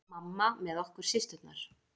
Mamma með okkur systurnar.